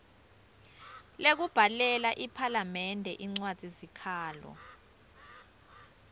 lekubhalela iphalamende incwadzisikhalo